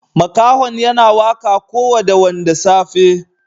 Makahon yana waka ko woda wanda safe.